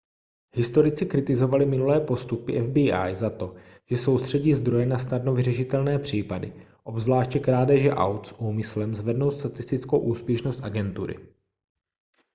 historici kritizovali minulé postupy fbi za to že soustředí zdroje na snadno vyřešitelné případy obzvláště krádeže aut s úmyslem zvednout statistickou úspěšnost agentury